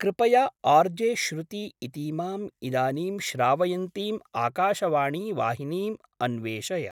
कृपया आर्जे श्रुती इतीमाम् इदानीं श्रावयन्तीम् आकाशवाणीवाहिनीम् अन्वेषय।